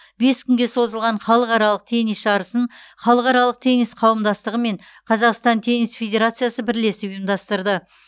бес күнге созылған халықаралық теннис жарысын халықаралық теннис қауымдастығы мен қазақстан теннис федерациясы бірлесіп ұйымдастырды